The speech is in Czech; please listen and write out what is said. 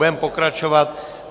Budeme pokračovat.